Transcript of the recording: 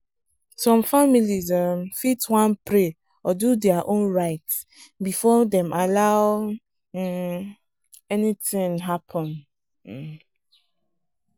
some families um fit wan pray or do their own rite before dem allow um anything happen. um